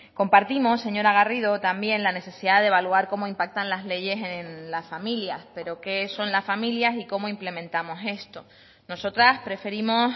compartimos señora garrido también la necesidad de evaluar cómo impactan las leyes en las familias pero qué son las familias y cómo implementamos esto nosotras preferimos